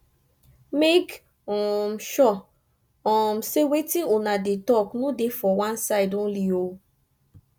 mek um sure um sey wetin una dey tok no dey for one side only o